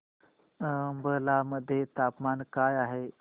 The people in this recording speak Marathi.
अंबाला मध्ये तापमान काय आहे